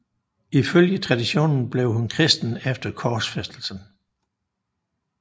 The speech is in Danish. Ifølge traditionen blev hun kristen efter korsfæstelsen